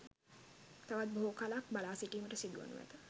තවත් බොහෝ කලයක් බලාසිටීමට සිදුවනු ඇත